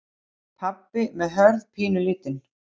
Pabbi með Hörð pínulítinn.